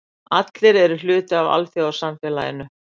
Allir eru hluti af alþjóðasamfélaginu.